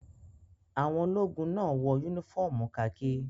Àwọn ológun náà wọ únífọ́ọ́mù kakí.